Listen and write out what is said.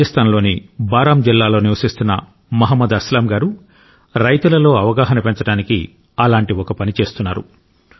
రాజస్థాన్లోని బారాం జిల్లాలో నివసిస్తున్న మహ్మద్ అస్లాం గారు రైతులలో అవగాహన పెంచడానికి అలాంటి ఒక పని చేస్తున్నారు